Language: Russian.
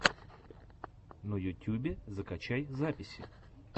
на ютюбе закачай записи